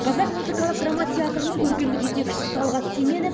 қазақ музыкалық драма театрының көркемдік жетекшісі талғат теменов